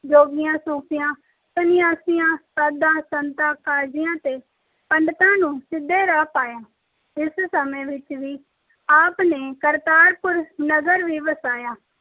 ਜੋਗੀਆਂ, ਸੂਫ਼ੀਆਂ, ਸੰਨਿਆਸੀਆਂ, ਸਾਧਾਂ, ਸੰਤਾਂ, ਕਾਜ਼ੀਆਂ ਤੇ ਪੰਡਤਾਂ ਨੂੰ ਸਿੱਧੇ ਰਾਹ ਪਾਇਆ। ਇਸ ਸਮੇਂ ਵਿੱਚ ਹੀ ਆਪ ਨੇ ਕਰਤਾਰਪੁਰ ਨਗਰ ਵੀ ਵਸਾਇਆ।